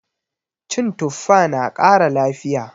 Cin tuffa na kara lafiya